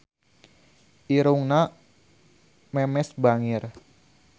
Irungna Memes bangir